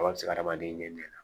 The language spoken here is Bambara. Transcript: hadamaden ɲɛnɛn